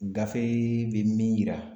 Gafe bɛ min yira